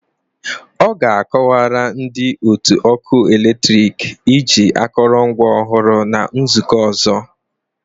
Ọ ga-akọwara ndị otu ọkụ eletrik iji akụrụngwa ọhụrụ na nzukọ ọzọ